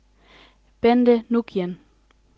Bente Nguyen